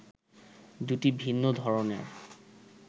দুটি ভিন্ন ধরনের